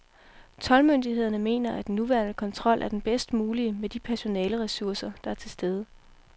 Toldmyndighederne mener, at den nuværende kontrol er den bedst mulige med de personaleresurser, der er til stede.